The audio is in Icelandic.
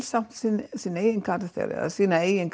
samt til sinn eigin karakter eða sína eigin